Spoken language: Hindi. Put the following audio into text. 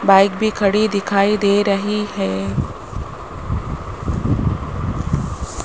बाइक भी खड़ी दिखाई दे रही है।